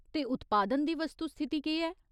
ते उत्पादन दी वस्तुस्थिति केह् ऐ ?